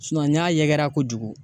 n'a yɛkɛra kojugu